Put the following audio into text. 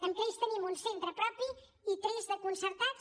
amb crei tenim un centre propi i tres de concertats